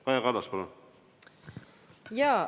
Kaja Kallas, palun!